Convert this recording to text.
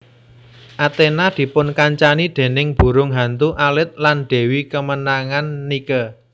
Athena dipunkancani déning burung hantu alit lan dewi kemenangan Nike